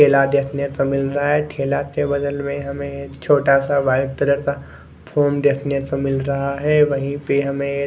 ठेला देखने को मिल रहा है ठेला के बगल में हमे एक छोटा सा वाइट कलर एक फ़ोन देखने को मिल रहा है वही पर हमे एक--